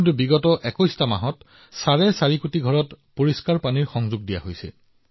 কিন্তু কেৱল যোৱা ২১ মাহত ৪৫ কোটি ঘৰক বিশুদ্ধ পানীৰ সংযোগ দিয়া হৈছে